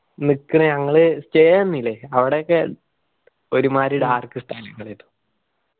നിക്ക് ഞങ്ങള് stay നിന്നില്ല അവിടെയൊക്കെ ഒരു മാതിരി dark സ്ഥലങ്ങളായിരുന്നു.